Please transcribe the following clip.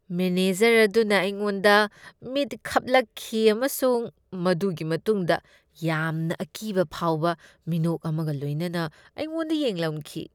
Manager ꯑꯗꯨꯅ ꯑꯩꯉꯣꯟꯗ ꯃꯤꯠ ꯈꯞꯂꯛꯈꯤ ꯑꯃꯁꯨꯡ ꯃꯗꯨꯒꯤ ꯃꯇꯨꯡꯗ ꯌꯥꯝꯅ ꯑꯀꯤꯕ ꯐꯥꯎꯕ ꯃꯤꯅꯣꯛ ꯑꯃꯒ ꯂꯣꯏꯅꯅ ꯑꯩꯉꯣꯟꯗ ꯌꯦꯡꯂꯝꯈꯤ꯫